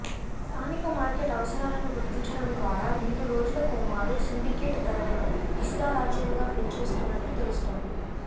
స్థానిక మార్కెట్ అవసరాలను గుర్తించడం ద్వారా రెండు రోజులకోమారు సిండికేట్ ధరలను ఇష్టారాజ్యంగా పెంచేస్తున్నట్లు తెలుస్తోంది